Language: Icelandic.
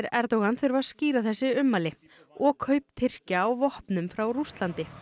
Erdogan þurfa að skýra þessi ummæli og kaup Tyrkja á vopnum frá Rússlandi